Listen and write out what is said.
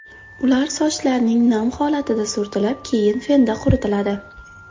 Ular sochlarning nam holatida surtilib, keyin fenda quritiladi.